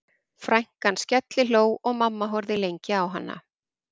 Frænkan skellihló og mamma horfði lengi á hana